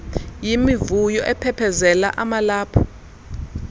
yimivuyo aphephezela amalaphu